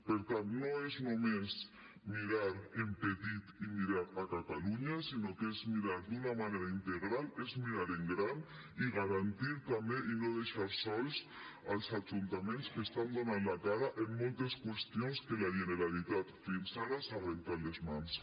per tant no és només mirar en petit i mirar catalunya sinó que és mirar d’una manera integral és mirar en gran i garantir també i no deixar sols els ajuntaments que estan donant la cara en moltes qüestions on la generalitat fins ara se n’ha rentat les mans